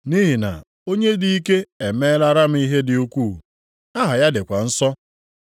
Nʼihi na Onye dị ike emeelara m ihe dị ukwuu. Aha ya dịkwa nsọ.